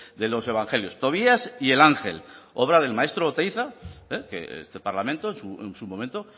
de los evangelios tobías y el ángel obra del maestro oteiza que este parlamento en su momento